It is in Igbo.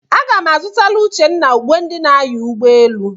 Aga m a zụtara Uchenna uwe ndị na-anya ụgbọelu.